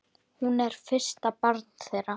Hún er fyrsta barn þeirra.